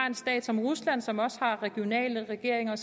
en stat som rusland som også har regionale regeringer